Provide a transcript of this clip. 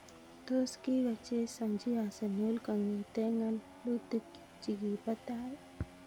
Tos kikochezanji Arsenal kongete ngalalutik chikipo tai?